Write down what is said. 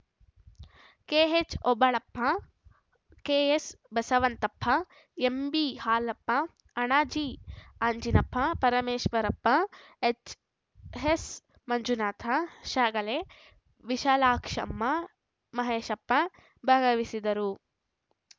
ಕೆಎಚ್‌ಓಬಳಪ್ಪ K S Basavanthappa M B Halappa Anaji Anjinappa Parameshwarappa H S Manjunatha Shyagale Vishalakshamma Maheshappa ಭಾಗವಹಿಸುದರು